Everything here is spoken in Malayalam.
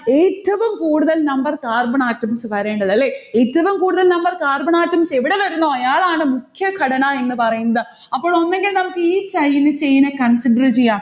ഏറ്റവും കൂടുതൽ number carbon atoms വരേണ്ടത്. അല്ലെ. ഏറ്റവും കൂടുതൽ number carbon atoms എവിട വരുന്നോ അയാളാണ് മുഖ്യഘടന എന്ന് പറയുന്നത്. അപ്പോളൊന്നുങ്കിൽ നമ്മുക്ക് ഈ style ഇൽ ചേയ്യുന്നെ consider ചെയ്യാം.